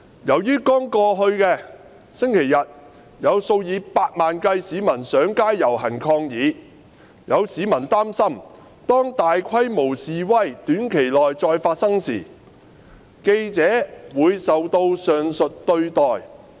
由於剛過去的星期日有數以百萬計市民上街遊行抗議，有市民擔心當大規模示威短期內再發生時，記者會受到上述對待。